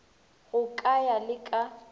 go ka ya le ka